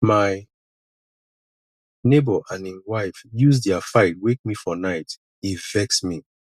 my nebor and im wife use their fight wake me for night e vex me